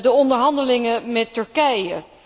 de onderhandelingen met Turkije.